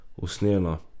Usnjena.